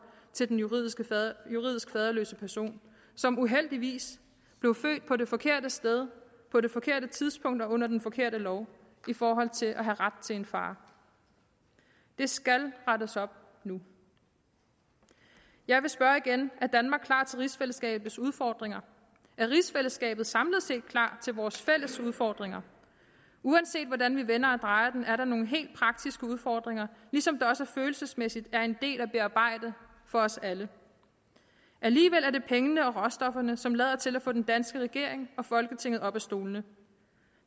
til den juridisk faderløse person som uheldigvis blev født på det forkerte sted på det forkerte tidspunkt og under den forkerte lov i forhold til at have ret til en far det skal rettes op nu jeg vil spørge igen er danmark klar til rigsfællesskabets udfordringer er rigsfællesskabet samlet set klar til vores fælles udfordringer uanset hvordan vi vender og drejer det er der nogle helt praktiske udfordringer ligesom der også følelsesmæssigt er en del at bearbejde for os alle alligevel er det pengene og råstofferne som lader til at få den danske regering og folketinget op af stolene